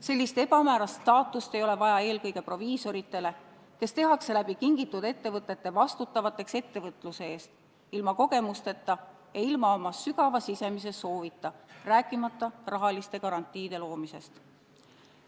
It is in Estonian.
Sellist ebamäärast staatust ei ole vaja eelkõige proviisoritele, kes tehakse läbi kingitud ettevõtete vastutavateks ettevõtluse eest, ilma kogemusteta ja ilma oma sügava sisemise soovita, rääkimata rahaliste garantiide loomisest.